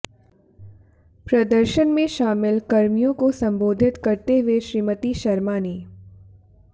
प्रदर्शन में शामिल कर्मियों को सम्बोधित करते हुए श्रीमती शर्मा ने